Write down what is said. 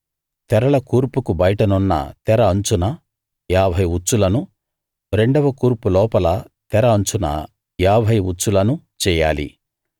తెరల కూర్పుకు బయటున్న తెర అంచున ఏభై ఉచ్చులను రెండవ కూర్పులోపల తెర అంచున ఏభై ఉచ్చులను చెయ్యాలి